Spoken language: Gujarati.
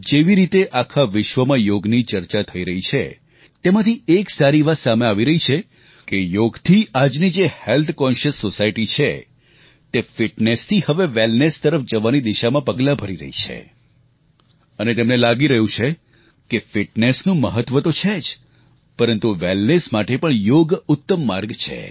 જેવી રીતે આખા વિશ્વમાં યોગની ચર્ચા થઈ રહી છે તેમાંથી એક સારી વાત સામે આવી રહી છે કે યોગથી આજનો જે આરોગ્ય અંગે જાગૃત સમાજ છે તે ફિટનેસ થી હવે વેલનેસ તરફ જવાની દિશામાં પગલાં ભરી રહ્યો છે અને તેમને લાગી રહ્યું છે કે ફિટનેસનું મહત્વ તો છે જ પરંતુ વેલનેસ માટે પણ યોગ ઉત્તમ માર્ગ છે